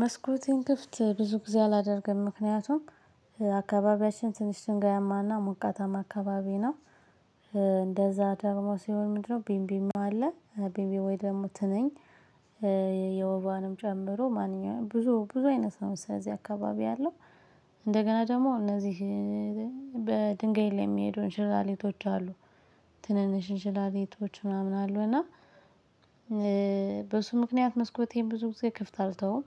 መስኮቲን ክፍት ብዙ ጊዜ አላደርግም ምክንያቱም አካባቢያችን ትንሽ ድንጋያማ ሞቃታማ አካባቢ ነው። እንደዛ ደግሞ ሲሆን ምንድነው? ቢምቢም አለ ቢምቢ ወይ ደግሞ ትንኝ። የወባንም ጨምሮ ማንኛውም ብዙ ብዙ አይነት ነው። ስለዚህ አካባቢ ያለው እንደገና ደግሞ እነዚህ በድንጋይ ላይ ሚሄዱ እንሽላሌቶች አሉ። ትንንሽ እንሽላሊቶች ምናምን አሉ እና በሱ ምክንያት መስኮቴን ብዙ ጊዜ ክፍት አልተውም።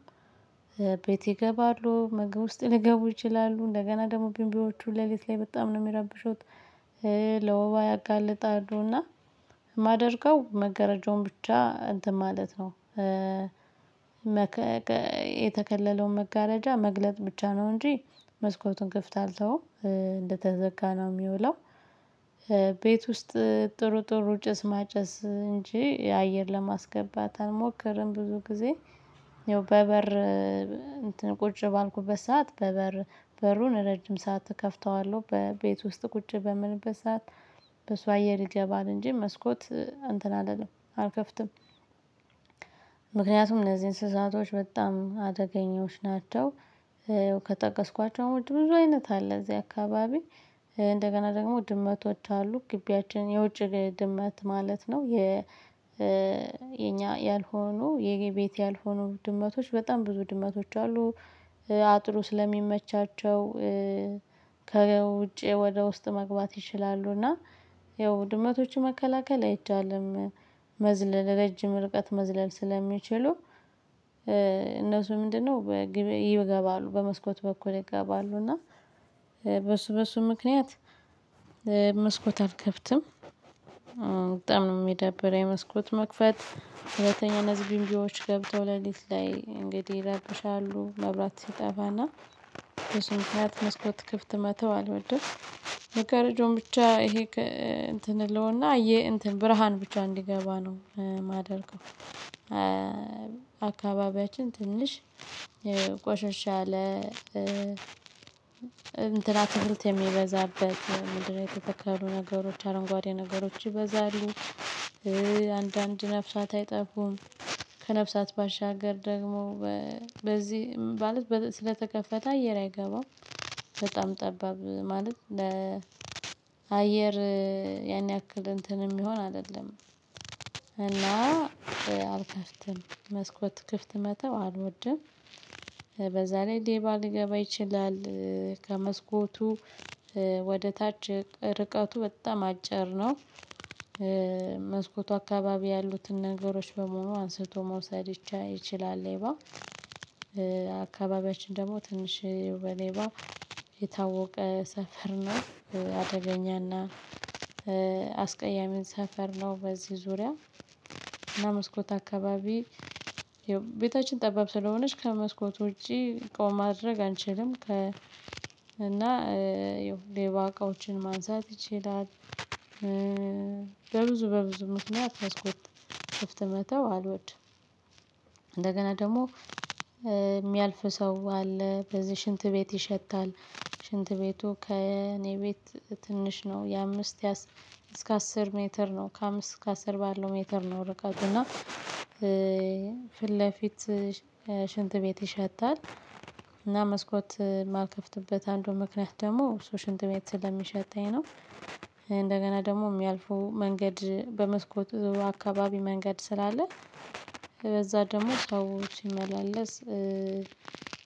ቤት ይገባሉ ምግብ ውስጥ ልገቡ ይችላሉ እንደገና ደግሞ ቢንቢዎቹ ሌሊት ላይ በጣም ነው ሚረብሹት። ለወባ ያጋልጣሉና። ማደርገው መገረጃውን ብቻ እንትን ማለት ነው። የተከለለውን መጋረጃ መግለጥ ብቻ ነው። እንጂ መስኮቱን ክፍት አልተውም። እንደተዘጋ ነው ሚውለው። ቤት ውስጥ ጥሩ ጥሩ ጭስ ማጨስ እንጂ የአየር ለማስገባት አልሞክርም ብዙ ጊዜ። በበር እንትን ቁጭ ባልኩበት ሰዓት በበር በሩን ረጅም ሰዓት እከፍተዋለሁ ቤት ውስጥ ቁጭ በምልበት ሰዓት በሱ አየር ይገባል እንጂ መስኮት እንትን አልልም አልከፍትም። ምክንያቱም እነዚህ እንስሳቶች በጣም አደገኛዎች ናቸው። ከጠቀስኳቸው ውጭ ብዙ አይነት አለ እዚህ አካባቢ። እንደገና ደግሞ ድመቶች አሉ ግቢያችን የውጭ ድመት ማለት ነው። የ የኛ ያልሆኑ የቤት ያልሆኑ ድመቶች በጣም ብዙ ድመቶች አሉ። አጥሩ ስለሚመቻቸው ከውጪ ወደ ውስጥ መግባት ይችላሉ። እና ያው ድመቶችን መከላከል አይቻልም። መዝለል ረጅም ርቀት መዝለል ስለሚችሉ እነሱ ምንድነው? ይገባሉ በመስኮት በኩል ይገባሉ እና በሱ በሱ ምክንያት። መስኮት አልከፍትም በጣም ነው ሚደብረኝ። መስኮት መክፈት ሁለተኛ እነዚህ ቢምቢወች ገብተው ሌሊት ላይ እንግዲህ ይረብሻሉ መብራት ሲጠፋና በሱ ምክንያት መስኮት ክፍት መተው አልድም። መጋረጃውን ብቻ ይሄ እንትን እለውና ይሄ እንትን ብርሃን ብቻ እንዲገባ ነው ማደርገው። አካባቢያችን ትንሽ ቆሸሽ አለ። እንትና አትክልት የሚበዛበት ምንድነው? የተተከሉ ነገሮች አረንጓዴ ነገሮች ይበዛሉ። አንዳንድ ነፍሳት አይጠፉም። ከነፍሳት ባሻገር ደግሞ በዚህ ማለት ስለተከፈተ አየር አይገባም። በጣም ጠባብ ማለት ለ አየር ያን ያክል እንትን እሚሆን አደለም። እና አልከፍትም መስኮት ክፍት መተው አልወድም። በዛ ላይ ሌባ ሊገባ ይችላል። ከመስኮቱ ወደ ታች ርቀቱ በጣም አጭር ነው። መስኮቱ አካባቢ ያሉትን ነገሮች በመሆኑ አንስቶ መውሰድ ይቻላል። ሌባ አካባቢያችን ደግሞ ትንሽ በሌባ የታወቀ ሰፈር ነው። አደገኛና አስቀያሚን ሰፈር ነው። በዚህ ዙሪያ እና መስኮት አካባቢ ይኸው ቤታችን ጠባብ ስለሆነች ከመስኮት ውጪ እቃዉን ማድረግ አንችልም። ከ እና ያው ሌባ እቃዎችን ማንሳት ይችላል። በብዙ በብዙ ምክንያት መስኮት ክፍት መተው አልወድም። እንደገና ደግሞ ሚያልፍ ሰው አለ በዚህ ሽንት ቤት ይሸታል። ሽንት ቤቱ ከእኔ ቤት ትንሽ ነው የአምስት የአስር እስከ አስር ሜትር ነው ከአምስት እስከ ከአስር ባለው ሜትር ነው። ርቀት እና ፊት ለፊት ሽንት ቤት ይሸታል። እና መስኮት ማልከፍትበት አንዱ ምክንያት ደግሞ ሽንት ቤት ስለሚሸተኝ ነው። እንደገና ደግሞ ሚያልፈው መንገድ በመስኮት ዙሩ አካባቢ መንገድ ስላለ። በዛ ደግሞ ሰው ሲመላለስ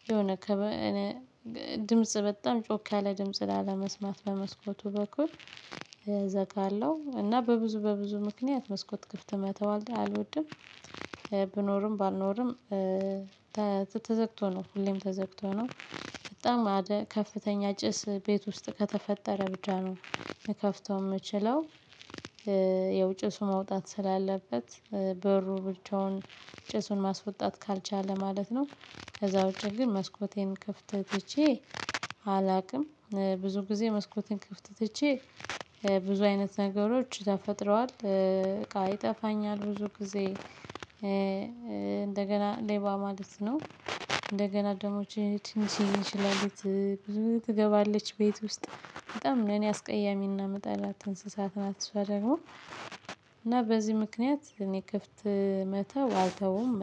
የሆነ ድምጽ በጣም ጮካያለ ድምጽ ላለመስማት በመስኮቱ በኩል እዘጋለሁ እና በብዙ በብዙ ምክንያት መስኮት ክፍት መተው አልወድም። ብኖርም ባልኖርም ተዘግቶ ነው ሁሌም ተዘግቶ ነው። በጣም አደ ከፍተኛ ጭስ ቤት ውስጥ ከተፈጠረ ብቻ ነው። ልከፍተው ምችለው ያው ጭሱ መውጣት ስላለበት በሩ ብቻውን ጭሱን ማስወጣት ካልቻለ ማለት ነው። ከዛ ውጪ ግን መስኮቴን ክፍት ትቼ አላቅም። ብዙ ጊዜ መስኮቴን ክፍት ትቼ ብዙ አይነት ነገሮች ተፈጥረዋል። ይጠፋኛል ብዙ ጊዜ እንደገና ሌባ ማለት ነው። እንደገና ደግሞ እቺ ትንሽየ እንሽላሊት ብዙ ትገባለች ቤት ውስጥ በጣም ለኔ አስቀያሚ እና ምጠላት እንስሳት ናት። እሷ ደግሞ እና በዚህ ምክንያት እኔ ክፍት መተው አልተውም።